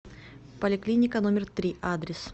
поликлиника номер три адрес